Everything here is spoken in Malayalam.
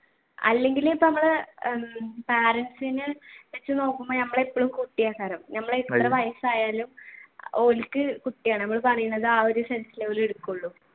അല്ലെങ്കിൽ ഇപ്പൊ നമ്മൾ ഉം parents നെ വെച്ച് നോക്കുമ്പോൾ നമ്മൾ എപ്പോഴും നമ്മൾ എത്ര വയസ്സായാലും ഓർക്ക് കുട്ടിയാണ് ഞമ്മള് പറയുന്നത് ആ ഒരു sense ലെ അവർ എടുക്കൂളൂ.